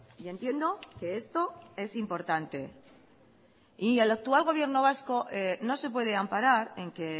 y entiendo que esto es importante y el actual gobierno vasco no se puede amparar en que